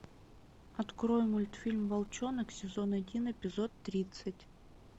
открой мультфильм волчонок сезон один эпизод тридцать